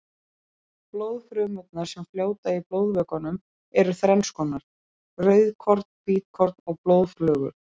Blóðfrumurnar sem fljóta í blóðvökvanum eru þrennskonar, rauðkorn, hvítkorn og blóðflögur.